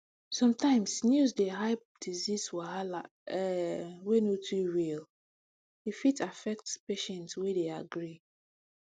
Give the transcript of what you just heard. sometimes news dey hype disease wahala um wey no too real e fit affect patient wey dey agree